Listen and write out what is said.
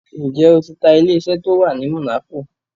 Ǹjẹ́ o ti ta ilé-isẹ́ tó wà ní Monaco?